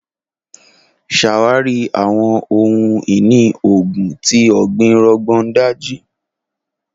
Ṣawari awọn ohun-ini oogun ti ọgbin Rogon Daji.